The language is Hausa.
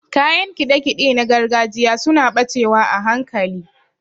Kayan kiɗe-kiɗe na gargajiya suna ɓacewa a hankali.